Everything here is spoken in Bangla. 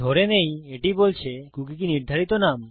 ধরে নেই এটি বলছে কুকী কি নির্ধারিত নাম